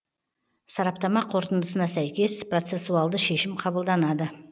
сараптама қорытындысына сәйкес процессуалды шешім қабылданады